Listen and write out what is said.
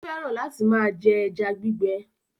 Ó fẹ́ràn láti máa jẹ ẹja gbígbẹ.